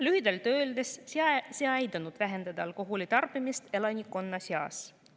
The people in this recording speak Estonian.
Lühidalt öeldes see ei aidanud vähendada alkoholi tarbimist elanikkonna seas.